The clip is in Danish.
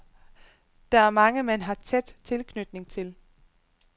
Der er mange, man har tæt tilknytning til.